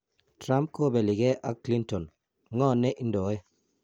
Trump kopeli gee ak Clinton: Ngo ne indoe?